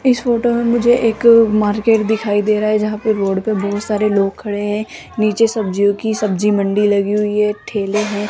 इस फोटो में मुझे एक मार्केट दिखाई दे रहा है जहां पे रोड पे बहोत सारे लोग खड़े हैं नीचे सब्जियों की सब्जी मंडी लगी हुई है ठेले हैं।